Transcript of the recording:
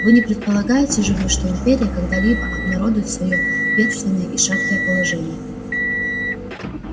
вы не предполагаете же вы что империя когда-либо обнародует своё бедственное и шаткое положение